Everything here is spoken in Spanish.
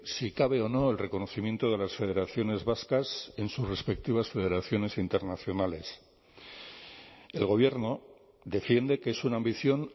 si cabe o no el reconocimiento de las federaciones vascas en sus respectivas federaciones internacionales el gobierno defiende que es una ambición